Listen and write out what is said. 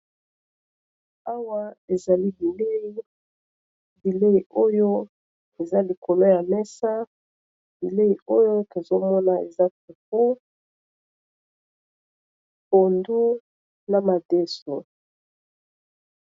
awa ezali bilei bilei oyo eza likolo ya mesa bilei oyo ozomona eza pepu pondu na madesno